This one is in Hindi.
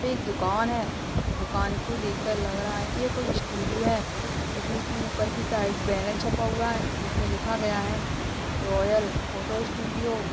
पे एक दुकान है | दुकान को देख कर लग रहा है कि कोई स्टूडियो है क्युकि इसपे ऊपर की साइड बैनर छपा हुआ है जिसमें लिखा गया है रॉयल फोटो स्टूडियो